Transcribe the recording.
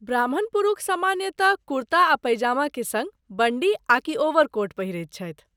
ब्राह्मण पुरूष सामान्यतः कुर्ता आ पैजामा के सङ्ग बंडी आकि ओवरकोट पहिरैत छथि।